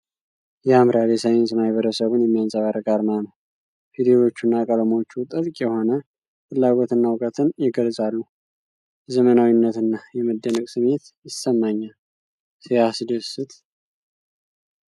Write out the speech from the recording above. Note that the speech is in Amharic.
ያምራል! የሳይንስ ማኅበረሰቡን የሚያንጸባርቅ አርማ ነው ። ፊደሎቹና ቀለሞቹ ጥልቅ የሆነ ፍላጎትና ዕውቀትን ይገልጻሉ ። የዘመናዊነትና የመደነቅ ስሜት ይሰማኛል። ሲያስደስት!